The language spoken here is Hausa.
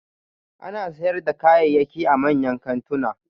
Ana sayar da kayayyaki a manyan kantuna